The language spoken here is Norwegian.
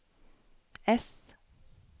S